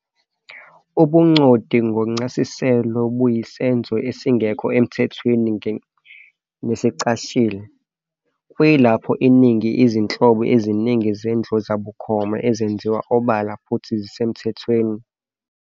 Ubuncondi ngokwencasiselo buyisenzo esingekho emthethweni nesicashile, kuyilapho iningi izinhlobo eziningi zendlozabukhoma zenziwa obala futhi zisemtyethweni.